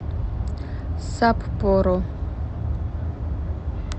саппоро